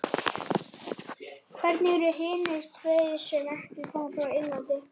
Hverjir eru hinir tveir sem ekki koma frá Englandi?